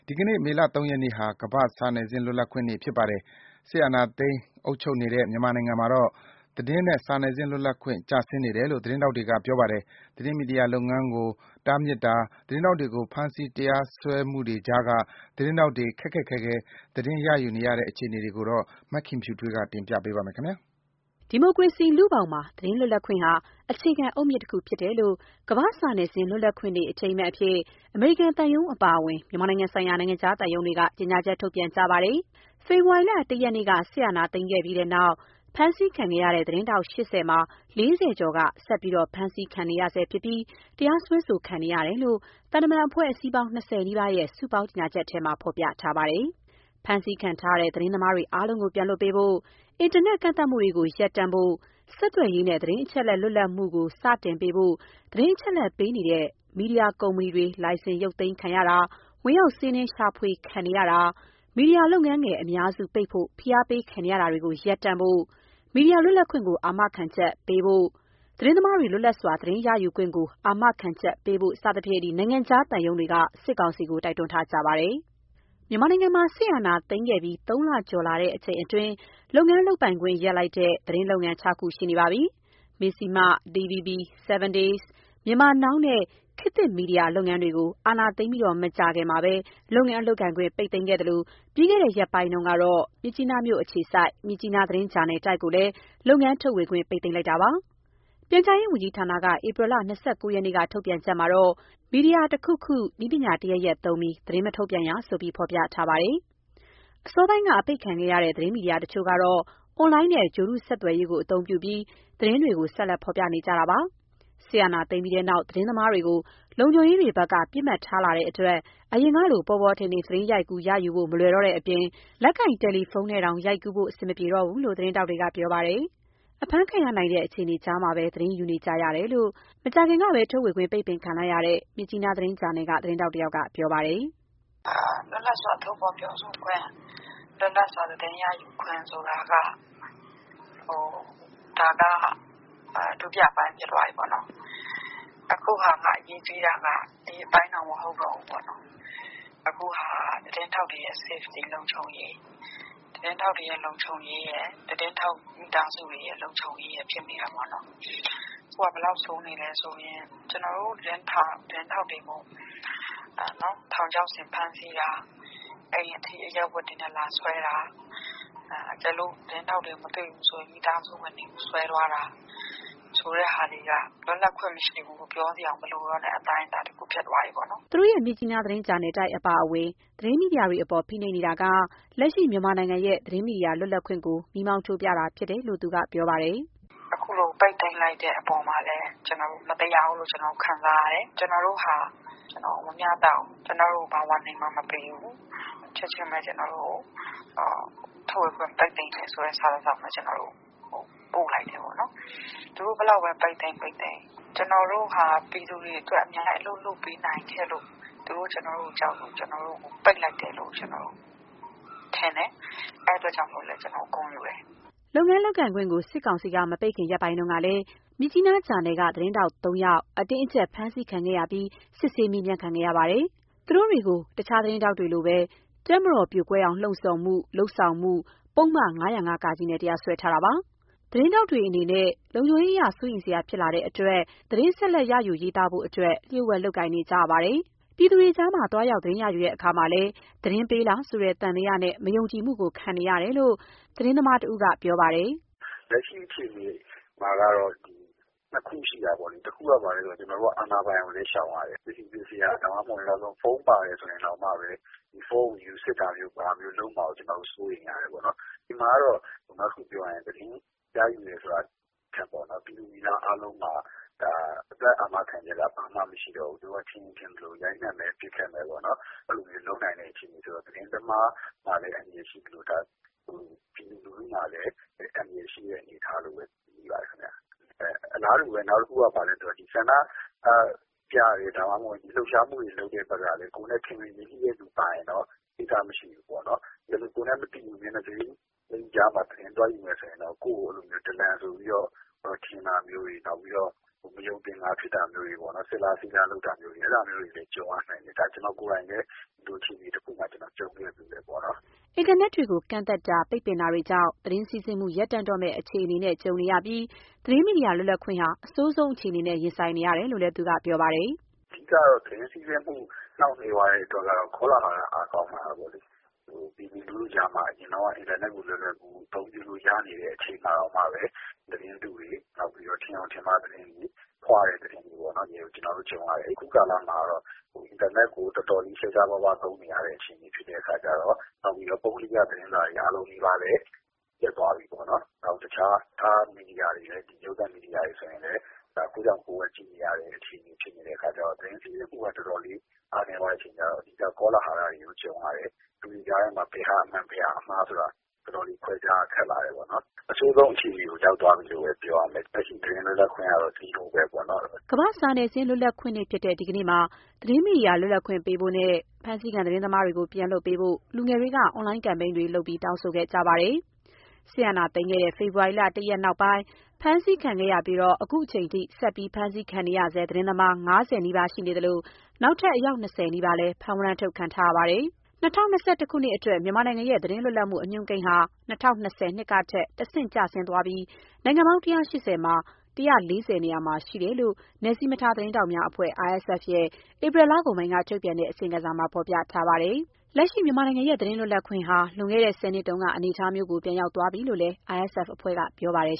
ီနေ့မေလ ၃ ရက်နေ့ဟာ ကမ္ဘာ့စာနယ်ဇင်းလွတ်လပ်ခွင့်နေ့ဖြစ်ပါတယ်။ စစ်အာဏာသိမ်း အုပ်ချုပ်နေတဲ့ မြန်မာနိုင်ငံမှာတော့ သတင်းနဲ့စာနယ်ဇင်းလွတ်လပ်ခွင့် ကျဆင်းနေတယ်လို့ သတင်းထောက်တွေက ပြောပါတယ်။ သတင်းမီဒီယာလုပ်ငန်းတွေကို တားမြစ်တာ၊ သတင်းထောက်တွေကို ဖမ်းဆီးတရားစွဲမှုတွေကြားက သတင်းထောက်တွေ ခက်ခက်ခဲခဲ သတင်းရယူနေကြရတဲ့ အခြေအနေ ရန်ကုန်က ပေးပို့ထားတာကို မခင်ဖြူထွေးပြောပြပါမယ်။ ဒီမိုကရေစီလူ့ဘောင်မှာ သတင်းလွတ်လပ်ခွင့်ဟာ အခြေခံအုတ်မြစ်တခုဖြစ်တယ်လို့ ကမ္ဘာ့စာနယ်ဇင်း လွတ်လပ်ခွင့် အထိမ်းအမှတ်အဖြစ် အမေရိကန်သံရုံးအပါအဝင် မြန်မာနိုင်ငံဆိုင်ရာ နိုင်ငံခြားသံရုံးတွေက ကြေညာချက်ထုတ်ပြန်ခဲ့ကြပါတယ်။ ဖေဖော်ဝါရီလ ၁ ရက်နေ့က စစ်အာဏာသိမ်းခဲ့ပြီးနောက်ပိုင်း အဖမ်းခံခဲ့ရတဲ့ သတင်းထောက် ၈၀ မှာ ၄၀ ကျော်က ဆက်လက်ဖမ်းဆီးခံနေရပြီး တရားစွဲဆိုခံနေရတယ်လို့ သံတမာန်အဖွဲ့အစည်းပေါင်း ၂၀ နီးပါးရဲ့ စုပေါင်းကြေညာချက်ထဲမှာ ဖော်ပြထားပါတယ်။ ဖမ်းဆီးထားတဲ့ သတင်းသမားတွေအားလုံးကို ပြန်လွှတ်ပေးဖို့၊ အင်တာနက်ကန့်သတ်မှုတွေကို ရပ်တန့်ဖို့ ဆက်သွယ်ရေးနဲ့သတင်းအချက်အလက်လွတ်လပ်မှုကို စတင်ပေးဖို့ သတင်းအချက်အလက်ပေးနေတဲ့ မီဒီယာကုမ္ပဏီတွေ လိုင်စင်ရုတ်သိမ်းခံရ၊ ဝင်ရောက်စီးနင်းရှာ ဖွေခံနေရတာ၊ မီဒီယာလုပ်ငန်းငယ်အများစု ပိတ်ဖို့ ဖိအားပေးခံရတာတွေကို ရပ်တန့်ဖို့၊ မီဒီယာလွတ်လပ်ခွင့်ကို အာမခံချက်ရှိရှိပေးဖို့ ၊ သတင်းသမားတွေ လွတ်လပ်စွာသတင်းရယူခွင့်ကိုအာမခံချက်ပေးဖို့ နိုင်ငံခြားသံရုံးတွေက စစ်ကောင်စီကို တောင်းဆိုထားကြပါတယ်။ မြန်မာနိုင်ငံမှာ စစ်အာဏာသိမ်းခဲ့ပြီး ၃ လကျော်လာချိန်အတွင်း လုပ်ငန်းလုပ်ပိုင်ခွင့် ရပ်လိုက်တဲ့ သတင်းလုပ်ငန်း ၆ ခုရှိပါပြီ။ မဇ္ဈိမ၊ DVB၊ 7 Days၊ Myanmar Now နဲ့ ခေတ်သစ် မီဒီယာလုပ်ငန်းတွေကို အာဏာသိမ်းပြီး မကြာခင်မှာ လုပ်ငန်းလုပ်ခွင့် ပိတ်သိမ်းခဲ့သလို ပြီးခဲ့တဲ့ရက်ပိုင်းကပဲ မြစ်ကြီးနားမြို့အခြေစိုက် မြစ်ကြီးနားသတင်းဂျာနယ်တိုက်ကိုလည်း လုပ်ငန်းထုတ်ဝေခွင့် ပိတ်သိမ်းလိုက်ပါတယ်။ ပြန်ကြားရေးဝန်ကြီးဌာနက ဧပြီ ၂၉ ရက်နေ့က ထုတ်ပြန်ချက်မှာ မီဒီယာတခုခု၊ နည်းပညာတရပ်ရပ်သုံးပြီး သတင်း မထုတ်ပြန်ရဆိုပြီး ဖော်ပြထားပါတယ်။ အစောပိုင်းက အပိတ်ခံခဲ့ရတဲ့ သတင်းမီဒီယာတချို့ကတော့ အွန်လိုင်းနဲ့ ဂြိုလ်တုဆက်သွယ်ရေးကို အသုံးပြုပြီး သတင်းတွေကို ဆက်လက်ဖော်ပြနေကြပါတယ်။ စစ်အာဏာသိမ်းခဲ့ပြီးနောက် သတင်းသမားတွေကို လုံခြုံရေးတွေဖက်က ပစ်မှတ်ထားလာတဲ့အတွက် အရင်ကလို ပေါ်ပေါ်ထင်ထင် သတင်းရိုက်ကူး ရယူနိုင်ဖို့ မလွယ်တဲ့အပြင် လက်ကိုင် တယ်လီဖုန်းနဲ့တောင် ရိုက်ကူးနိုင်ဖို့ အဆင်မပြေဘူးလို့ သတင်းထောက်တွေက ပြောပါတယ်။ အဖမ်းခံရနိုင်တဲ့ အခြေအနေကြားမှာ သတင်းယူနေကြရတယ်လို့ လတ်တလောကပဲ ထုတ်ဝေ ခွင့်ပိတ်ခံရတဲ့ မြစ်ကြီးနား သတင်းဂျာနယ်က သတင်းထောက်တယောက်က ပြောပါတယ်။ "လွတ်လပ်စွာပြောဆိုခွင့် လွတ်လပ်စွာသတင်းရယူခွင့်ဆိုတာက ဒါကဒုတိယအပိုင်းဖြစ်သွားပြီ။ အခုအရေးကြီး တာက ဒီအပိုင်းမဟုတ်တော့ဘူး။ ခုကသတင်းထောက်တွေရဲ့လုံခြုံရေးနဲ့ သူတို့မိသားစုလုံခြုံရေးရယ်ဖြစ်နေတာပေါ့ နော်။ ခုကဘယ်လောက်ဆိုးနေလဲဆို ကျနော်တို့သတင်းထောက်တွေကို ထောင်ခြောက်ဆင်ဖမ်းတာ၊ အိမ်ထိအရပ် ဝတ်တွေနဲ့ လာဆွဲတာ. သူတို့ကိုမတွေ့ရင်မိသားစုဝင်တွေကိုဆွဲသွားတာ တွေက လွတ်လပ်ခွင့်မရှိဘူးလို့ ပြောစရာမလို တဲ့အပိုင်းဖြစ်သွားပြီ" သူတို့ရဲ့မြစ်ကြီးနား သတင်းဂျာနယ်တိုက် အပါအဝင် သတင်းမီဒီယာတွေအပေါ် ဖိနှိပ်နေတာက လက်ရှိမြန်မာနိုင်ငံရဲ့ သတင်းမီဒီယာလွတ်လပ်ခွင့်ကို မီးမောင်းထိုးပြတာဖြစ်တယ်လို့ သူက ပြောပါတယ်။ " အခုလိုပိတ်သိမ်းလိုက်တာကိုလည်း မတရားဘူးလို့ ကျနော်တို့ခံစားရတယ်။ ကျနော်တို့ဟာမမျှတဘူး ကျနော်တို့ကို ဘာသတိပေးချက်မှမပေးဘူး။ ချက်ချင်းဘဲ ထုတ်ဝေခွင့်ပိတ်တာဘဲပို့တယ်။ သူတို့ဘယ်လောက်ဘဲ ပိတ်သိမ်း ကျနော်တို့က ပြည်သူတွေအတွက် အလုပ်ကောင်းကောင်းလုပ်ပေးနိုင်ခဲ့လို့ သူတို့ကျနော်တို့ကို ကြောက်လို့ကျနော်တို့ ကိုပိတ်တယ်လို့ထင်တယ်။ အဲအတွက်ကျနော်တို့ ဂုဏ်ယူတယ် " လုပ်ငန်းလုပ်ခွင့်ကို စစ်ကောင်စီက မပိတ်ခင်ရက်ပိုင်းကလည်း မြစ်ကြီးနားဂျာနယ်က သတင်းထောက် ၃ ဦးကို အတင်းအကျပ် ဖမ်းဆီးခံခဲ့ရပြီး စစ်ဆေးမေးမြန်းခံခဲ့ရပါတယ်။ သူတို့တွေကို တခြားသတင်းထောက်တွေလိုဘဲ တပ်မတော်ပြိုကွဲအောင် လှုံ့ဆော်မှု၊ လုပ်ဆောင်မှုတို့ ပုဒ်မ ၅၀၅-က နဲ့ တရားစွဲထားပါတယ်။ သတင်းထောက်တွေအနေနဲ့ လုံခြုံရေး စိုးရိမ်စရာဖြစ်လာတဲ့အတွက် သတင်းထောက်အများအပြားဟာ ဆက်လက်သတင်းရယူရေးသားဖို့အတွက် လျှို့ဝှက်လုပ်ကိုင် နေရပါတယ်။ ပြည်သူတွေကြား သွားရောက် သတင်းရယူတဲ့အခါမှာလည်း သတင်းပေးလားဆိုတဲ့ သံသယနဲ့ မယုံကြည်မှုကို ခံနေရတယ်လို့ မြေပြင်သတင်းရ ယူနေသူတဦးကပြောပါတယ်.။ "လက်ရှိအခြေအနေက ၂ခုရှိတာပေါ့။ ကျနော်တို့က အာဏာပိုင်ကိုလည်းရှောင်ရတယ်။ ပစ္စည်းပစ္စယ နောက်ဆုံးဖုန်း ပါတယ်ဆိုရင်တောင်မှဘဲ ဖုန်းကိုယူစစ်တာမျိုးကိုကျနော်တို့စိုးရိမ်နေရတယ်။ ဒီမှာက သတင်းသမားမှ မဟုတ်တော့ဘူး။ ပြည်သူပြည်သားတွေပါ အသက်အန္တရာယ်နဲ့ ကြုံနေရတယ် သူတို့ကမထင်ရင်မထင်သလို အခြေအနေဖြစ်နေတယ်။ နောက်တခုကလည်းဆန္ဒပြတဲ့သူတွေက ကိုယ်နဲ့ ခင်မင်ရင်းနှီးတဲ့သူ ပါရင်တော့ ကိစ္စမရှိဘူးပေါ့။ ကိုယ်နဲ့မသိဘဲ မျက်နှာစိမ်းထဲသတင်းသွားယူရရင်တော့ ဒလန် ဆိုပြီးထင်တာတွေ နောက်ပြီးတော့စစ်လားဆေးလားတွေ ကြုံရနိုင်တယ်။ ကျနော်ကိုယ်တိုင်လဲ အခြေအနေတခုမှာကြုံ ခဲ့ရတယ်" အင်တာနက်တွေကို ကန့်သတ်တာ၊ ပိတ်ပင်တာတွေကြောင့်လည်း သတင်းစီးဆင်းမှု ရပ်တန့်တော့မယ့် အခြေအနေနဲ့လည်းကြုံနေရပြီး သတင်းမီဒီယာ လွတ်လပ်ခွင့်ဟာ အဆိုးဆုံးအခြေအနေနဲ့ ရင်ဆိုင်နေရတယ်လို့ သူကပြောပါတယ်။ "သတင်းစီးဆင်းမှုနှောင့်နှေးတာက ကောလဟာလ အားကောင်းလာတယ်။ ပြည်သူကြားမှာ အရင်က အင်တာနက် လွယ်လွယ်သုံးနိုင်တုန်းကတောင် ကျနော်တို့က သတင်းမှားတွေ သတင်းတုတွေကို ရင်ဆိုင်ရတယ်။ ခုအင်တာနက်ကို တော်တော်ရှားရှားပါးပါးသုံးနေရတော့ နောက်ပြီး ပုဂ္ဂလိက မီဒီယာတွေလည်းအားလုံးနီးပါးရပ်တော့ နောက်တခြားရုပ်သံမီဒီယာတွေလည်းရပ်တော့ ခိုးကြောင်ခိုးဝှက်ကြည့်နေရတယ်။ သတင်းစီးဆင်းမှုကတော်တော်လေးအားနည်းလာတယ်။ ကောလဟာလကြုံရတယ်။ ဘယ်ဟာအမှန်ဘယ်ဟာအမှား ဆုံးဖြတ်ဖို့ခက်လာတယ်။ အဆိုးဆုံးအခြေအနေရောက်နေတယ်လို့ပြောရမယ်။ လက်ရှိသတင်းမီဒီယာလွတ်လပ်ခွင့်ဆိုတာလဲဘာမှမရှိတော့ဘူး" ကမ္ဘာ့စာနယ်ဇင်းလွတ်လပ်ခွင့်နေ့ဖြစ်တဲ့ ဒီကနေ့မှာ သတင်းမီဒီယာလွတ်လပ်ခွင့်ပေးပို့နဲ့ ဖမ်းဆီးခံ သတင်းသမားတွေကို ပြန်လွှတ်ပေးဖို့ လူငယ်တွေက အွန်လိုင်းကမ်ပိန်းတွေ ပြုလုပ်တောင်းဆိုခဲ့ကြပါတယ်။ စစ်အာဏာသိမ်းခဲ့တဲ့ ဖေဖော်ဝါရီ ၁ ရက်နောက်ပိုင်း ဖမ်းဆီးခံရပြီး ခုချိန်ထိ ဆက်လက်ဖမ်းဆီးခံနေရတဲ့ သတင်းသမား ၅၀ နီးပါးရှိနေသလို နောက်ထပ် အယောက် ၂၀ နီးပါးလည်း ဖမ်းဝရမ်းထုတ်ခံထားရပါတယ်။ ၂၀၂၁ ခုနှစ်အတွက် မြန်မာနိုင်ငံရဲ့ သတင်းလွတ်လပ်မှု အညွှန်းကိန်းဟာ ၂၀၂၀ ကထက် တဆင့်ကျဆင်းသွာပြီး နိုင်ငံပေါင်း ၁၈၀ မှာ ၁၄၀ နေရာမှာရှိတယ်လို့ နယ်စည်းမခြားသတင်းထောက်များအဖွဲ့ RSF ရဲ့ ဧပြီလကုန်ပိုင်းက ထုတ်ပြန်တဲ့ အစီရင်ခံစာမှာဖော်ပြထားပါတယ်။ လက်ရှိမြန်မာနိုင်ငံရဲ့ သတင်းလွတ်လပ်ခွင့်က လွန်ခဲ့တဲ့ ၁၀ နှစ်တုန်းက အနေအထားမျိုး ပြန်ရောက်သွားပြီလို့လည်း RSF ကပြောပါတယ်